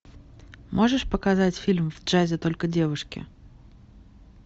можешь показать фильм в джазе только девушки